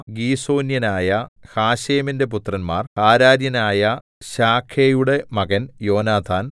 ഗീസോന്യനായ ഹശേമിന്റെ പുത്രന്മാർ ഹാരാര്യയനായ ശാഗേയുടെ മകൻ യോനാഥാൻ